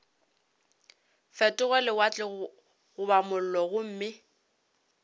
fetoge lewatle goba mollo gomme